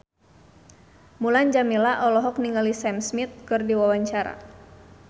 Mulan Jameela olohok ningali Sam Smith keur diwawancara